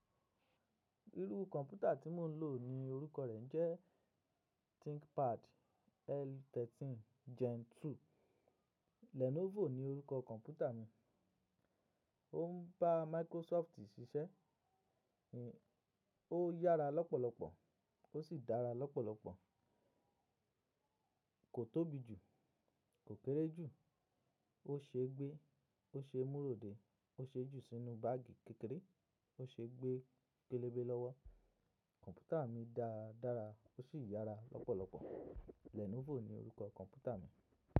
Irú kọ̀ǹpútà tí mo ń lò ní orúkọ rẹ̀ jẹ́ Thinkpad L13 Gen 2. Lenovo ni orúkọ kọ̀ǹpútà mi. Ó ń bá Microsoft ṣiṣẹ́. Ó yára lọ́pọ̀lọpọ̀ ó sì dára lọ́pọ̀lọpọ̀. Kò tóbi jù, kò kéré jù, ó ṣe gbé, ó ṣe múróde, ó ṣe jù sínú báàgì kékeré, ó se gbé pélebe lọ́wọ́. Kọ̀ǹpútà mi dára dára ó sì yára lọ́pọ̀lọpọ̀. Lenovo ni orúkọ kọ̀ǹpútà mi.